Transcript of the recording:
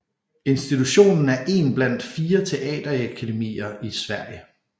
Institutionen er én blandt fire teaterakademier i Sverige